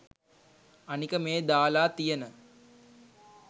අනික මේ දාලා තියන